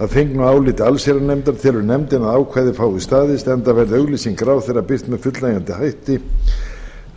að fengnu áliti allsherjarnefndar telur nefndin að ákvæðið fái staðist enda verði auglýsing ráðherra birt með fullnægjandi hætti